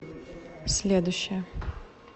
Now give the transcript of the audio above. следующая